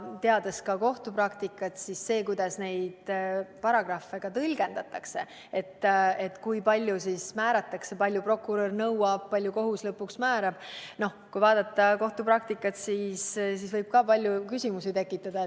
Teades ka kohtupraktikat, siis see, kuidas neid paragrahve tõlgendatakse, et kui palju prokurör nõuab ja kui palju kohus lõpuks määrab – no kui vaadata kohtupraktikat –, võib samuti palju küsimusi tekitada.